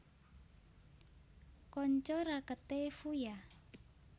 Kanca raketé Fuya